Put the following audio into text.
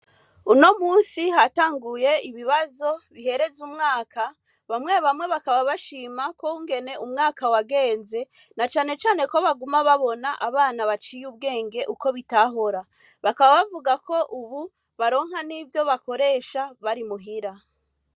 Uno munsi hatanguye ibibazo bihereza umwaka ,bamwe bamwe bakaba bashima ukungene umwaka wagenze na cane cane ko baguma babona abana baciye ubwenge uko bitahora. Bakaba bavuga ko ubu n'ivyo bakoresha bari muhira.